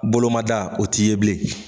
Boloma da o t'i ye bilen.